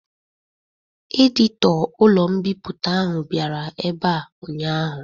Edito ụlọ mbipụta ahụ bịara ebe a ụnyaahụ